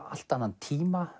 allt annan tíma